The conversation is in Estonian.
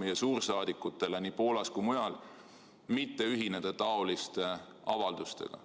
meie suursaadikutele nii Poolas kui ka mujal antud korraldus mitte ühineda seesuguste avaldustega.